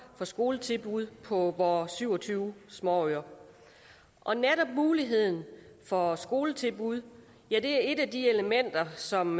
for skoletilbud på vores syv og tyve småøer og netop muligheden for skoletilbud er et af de elementer som